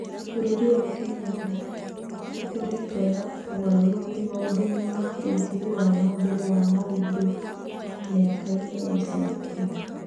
Bũrũri wa Kenya nĩ ĩkoretwo na ũgarũrũku maũndũ-inĩ ma wa ũthii wa na mbere wa mũndũ mĩaka-inĩ ya ica ikuhĩ.